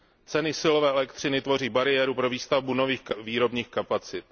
Ceny silové elektřiny tvoří bariéru pro výstavbu nových výrobních kapacit.